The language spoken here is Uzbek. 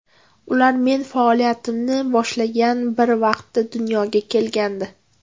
Ular men faoliyatimni boshlagan bir vaqtda dunyoga kelgandi.